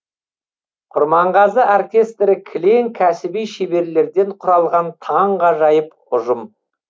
құрманғазы оркестрі кілең кәсіби шеберлерден құралған таңғажайып ұжым